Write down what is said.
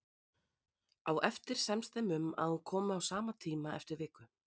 Á eftir semst þeim um að hún komi á sama tíma eftir viku.